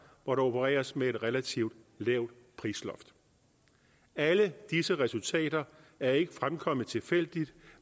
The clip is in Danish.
hvor der opereres med et relativt lavt prisloft alle disse resultater er ikke fremkommet tilfældigt